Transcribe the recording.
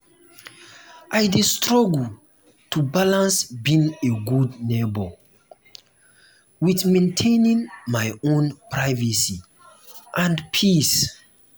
i dey struggle to balance being a good neighbor with maintaining my own privacy and peace.